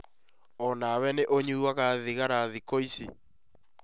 O na wee nĩ ũnyuaga thigara thĩkũ ĩcĩ?